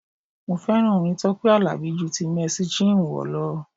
Mo fẹ́ràn orin Tọ́pẹ́ Àlàbí ju ti Mercy Chinwo lọ.